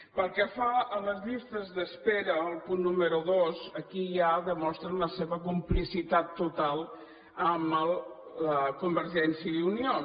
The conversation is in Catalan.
pel que fa a les llistes d’espera el punt número dos aquí ja demostren la seva complicitat total amb convergència i unió